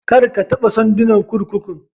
Kar a taɓa sandunan kurkukun